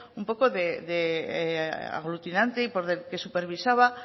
un poco de aglutinante y que supervisaba